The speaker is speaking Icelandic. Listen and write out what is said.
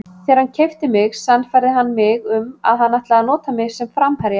Þegar hann keypti mig sannfærði hann mig að hann ætlaði að nota mig sem framherja.